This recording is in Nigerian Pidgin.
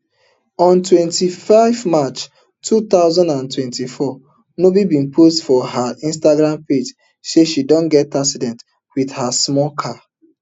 on twenty-five march two thousand and twenty-four nubi bin post for her instagram page say she don get accident wit her small car